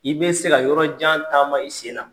I be se ka yɔrɔjan taama i sen na.